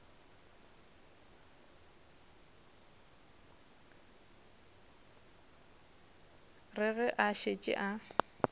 re ge a šetše a